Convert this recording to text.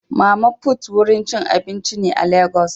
Mama put wurin cin abinci ne a legas.